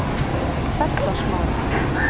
Fellasmára